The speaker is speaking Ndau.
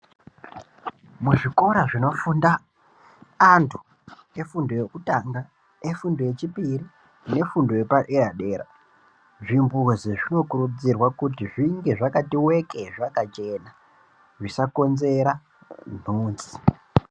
Muzvikora zvinofunda antu efundo yekutanga nefundo yechipiri nefundo yepaderadera zvibhuzi zvinokurudzirwa kuti zvinge zvakati weke zvakachena zvisakonzera ntunzi.